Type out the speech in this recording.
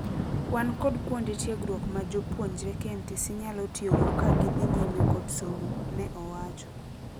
"Wan kod kuonde tiegruok majopuonjre KMTC nyalo tio go ka gidhi nyime kod somo," ne owacho.